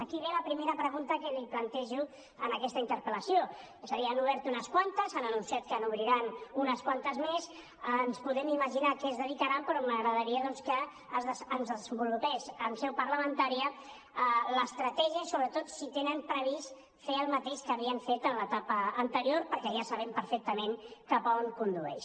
aquí ve la primera pregunta que li plantejo en aquesta interpel·lació és a dir n’han obert unes quantes han anunciat que n’obriran unes quantes més ens podem imaginar a què es dedicaran però m’agradaria doncs que ens desenvolupés en seu parlamentària l’estratègia i sobretot si tenen previst fer el mateix que havien fet en l’etapa anterior perquè ja sabem perfectament cap a on condueix